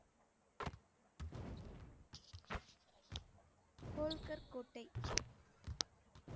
கோல்கர் கோட்டை